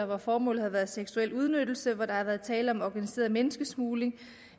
hvor formålet har været seksuel udnyttelse hvor der har været tale om organiseret menneskesmugling